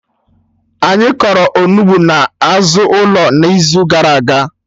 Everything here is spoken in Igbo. Anyị kọrọ Onugbu na azụ ụlọ n'izu gara aga